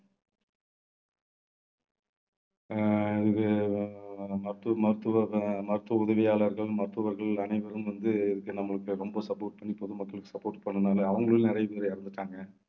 அஹ் இது நம்ம மருத்துவ~ மருத்துவ~ மருத்துவ உதவியாளர்கள் மருத்துவர்கள் அனைவரும் வந்து இதுக்கு நம்மளுக்கு ரொம்ப support பண்ணி பொதுமக்களுக்கு support பண்ணினதுனால அவங்களும் நிறைய பேர் இறந்துட்டாங்க.